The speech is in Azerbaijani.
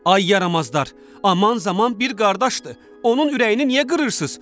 Ay yaramazlar, aman zaman bir qardaşdır, onun ürəyini niyə qırırsınız?